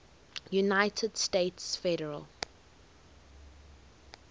united states federal